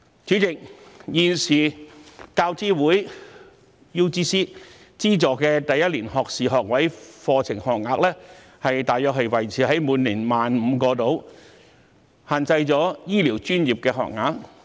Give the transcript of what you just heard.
主席，現時大學教育資助委員會資助的第一年學士學位課程學額大約維持在每年 15,000 個，因而限制了醫療專業的資助學額。